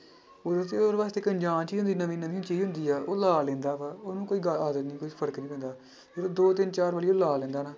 ਉਹਦੇ ਵਾਸਤੇ ਇੱਕ ਅਨਜਾਣ ਚੀਜ਼ ਵੀ ਨਵੀਂ ਨਵੀਂ ਹੁੰਦੀ ਆ ਉਹ ਲਾ ਲੈਂਦਾ ਵਾ, ਉਹਨੂੰ ਕੋਈ ਫ਼ਰਕ ਨੀ ਪੈਂਦਾ ਜਦੋਂ ਦੋ ਤਿੰਨ ਚਾਰ ਵਾਰੀ ਉਹ ਲਾ ਲੈਂਦਾ ਨਾ,